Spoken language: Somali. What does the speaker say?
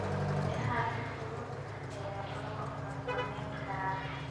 Miraha si fudud ayaa loo farsamayn karaa.